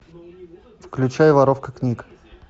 включай воровка книг